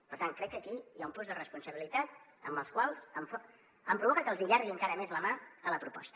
per tant crec que aquí hi ha un plus de responsabilitat que em provoca que els hi allargui encara més la mà a la proposta